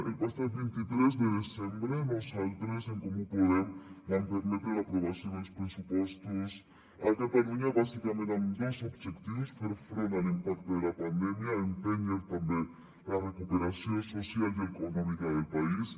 el passat vint tres de desembre nosaltres en comú podem vam permetre l’aprovació dels pressupostos a catalunya bàsicament amb dos objectius fer front a l’impacte de la pandèmia empènyer també la recuperació social i econòmica del país